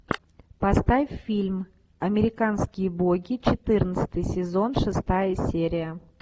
поставь фильм американские боги четырнадцатый сезон шестая серия